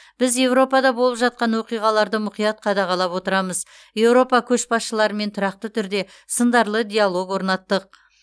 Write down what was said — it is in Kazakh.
біз еуропада болып жатқан оқиғаларды мұқият қадағалап отырамыз еуропа көшбасшыларымен тұрақты түрде сындарлы диалог орнаттық